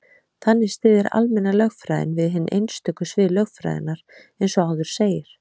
Þannig styður almenna lögfræðin við hin einstöku svið lögfræðinnar, eins og áður segir.